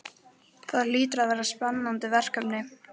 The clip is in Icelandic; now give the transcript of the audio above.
Það hlýtur að vera spennandi verkefni?